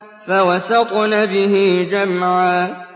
فَوَسَطْنَ بِهِ جَمْعًا